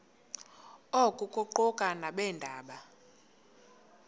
oku kuquka nabeendaba